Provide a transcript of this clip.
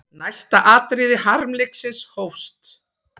Næsta atriði harmleiksins hófst.